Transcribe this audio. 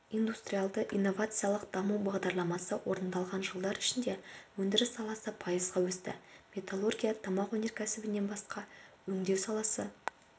индустриалды-инновациялық даму бағдарламасы орындалған жылдар ішінде өндіріс саласы пайызға өсті металлургия тамақ өнеркәсібінен басқа өңдеу саласы